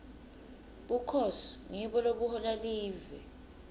bukhosi ngibo lobuhola live